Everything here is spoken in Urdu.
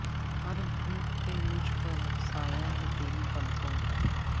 ہر دھوپ پہ مجھ پر سایا ہے تیری پلکوں کا